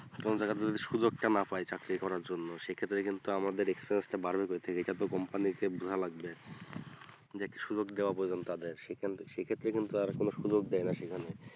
তখন দেখা যাই যদি সুযোগটা না পাই চাকরি করার জন্য সেক্ষেত্রে কিন্তু আমাদের experience বাড়বে কোথা থেকে এটা যে company এর যে লাগবে সে সুযোগটা দেওয়া প্রয়াজন তাদের সে খানতে সে ক্ষেত্রে কিন্তু আর কোনো সুযোগ দেয়না সেখানে